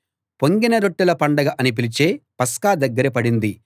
పొంగని రొట్టెల పండగ అని పిలిచే పస్కా దగ్గర పడింది